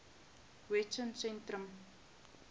wessosentrum